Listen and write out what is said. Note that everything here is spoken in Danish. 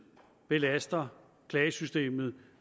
belaster klagesystemet